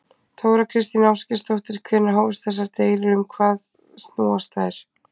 Þóra Kristín Ásgeirsdóttir: Hvenær hófust þessar deilur og um hvað snúast þær?